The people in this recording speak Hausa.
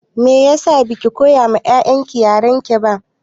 Meyasa baki koya ma 'ya'yan ki yarenki ba?